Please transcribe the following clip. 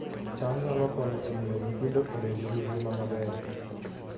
cham nyalo konyo e miyo nyithindo obed gi ngima maber